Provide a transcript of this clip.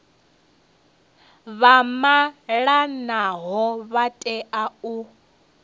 vha malanaho vha tea u